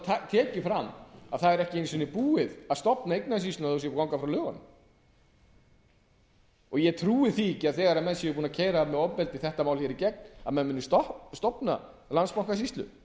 þó tekið fram að það er ekki einu sinni búið að stofna eignaumsýsluna þó búið sé að ganga frá lögunum og trúi því ekki að þegar menn eru búnir að keyra þetta mál í gegn með ofbeldi munu þeir stofna landsbankasýslu